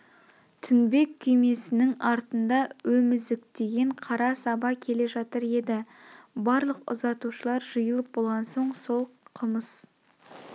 тінбек күймеснің артында емізіктеген қара саба келе жатыр еді барлық ұзатушылар жиылып болған соң сол қымыз